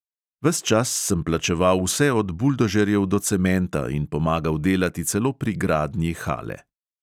Ves čas sem plačeval vse od buldožerjev do cementa in pomagal delati celo pri gradnji hale.